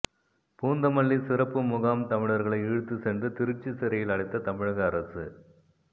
பூந்தமல்லி சிறப்பு முகாம் தமிழர்களை இழுத்துச் சென்று திருச்சி சிறையில் அடைத்த தமிழக அரசு